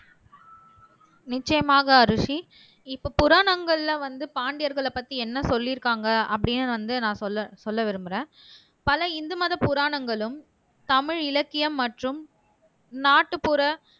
நிச்சயமாக அரூசி இப்ப புராணங்கள்ல வந்து பாண்டியர்களை பத்தி என்ன சொல்லிருக்காங்க அப்படீன்னு வந்து நான் சொல்ல சொல்ல விரும்புறேன் பல இந்து மத புராணங்களும், தமிழ் இலக்கியம் மற்றும் நாட்டுப்புற